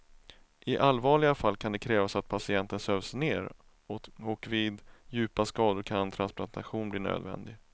I allvarliga fall kan det krävas att patienten sövs ner och vid djupa skador kan transplantation bli nödvändig.